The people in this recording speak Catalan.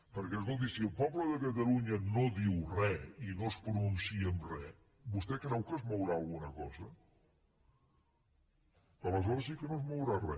perquè escolti si el poble de catalunya no diu re i no es pronuncia en re vostè creu que es mourà alguna cosa aleshores sí que no es mourà re